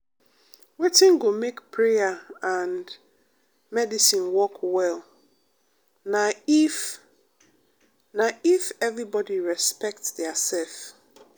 wetin go make prayer and medicine work well na if if everybody respect diasef.